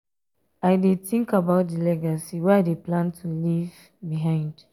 i dey tink about di legacy wey i dey plan to leave behind.